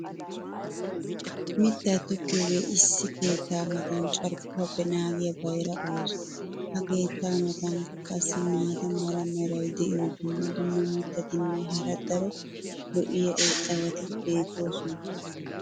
mitaa tokkiyoogee issi keettaa matan carkkuwappe naagiya bayra ooso. ha keettaa matankka qassi maata mala meray diyo dumma dumma mitatinne hara daro lo'iya irxxabati beetoosona.